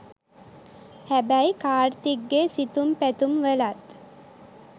හැබැයි කාර්තික්ගේ සිතුම් පැතුම් වලත්